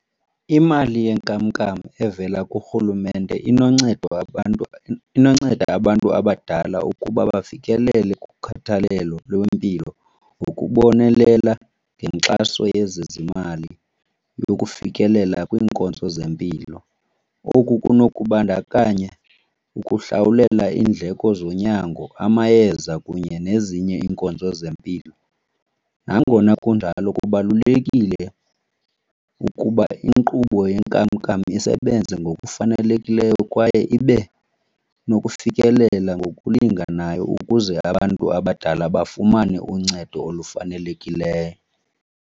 Imali yenkamnkam evela kurhulumente inoncedo abantu , inonceda abantu abadala ukuba bafikelele kukhathalelo lwempilo ngokubonelela ngenkxaso yezezimali yokufikelela kwiinkonzo zempilo. Oku kunokubandakanya ukuhlawulela iindleko zonyango, amayeza kunye nezinye iinkonzo zempilo. Nangona kunjalo kubalulekile ukuba inkqubo yenkamnkam isebenze ngokufanelekileyo kwaye ibe nokufikelela ngokulinganayo ukuze abantu abadala bafumane uncedo olufanelekileyo.